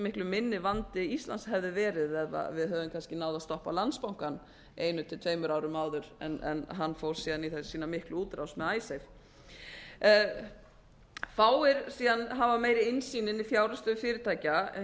miklu minni vandi ísland hefði verið eða við hefðum kannski náð að stoppa landsbankann einu til tveimur árum áður en hann fór síðan í sína miklu útrás með icesave fáir hafa meiri innsýn inn í fjárhagsstöðu fyrirtækja